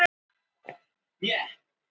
Því var svarað á viðeigandi hátt.